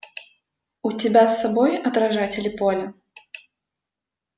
у тебя с собой отражатели поля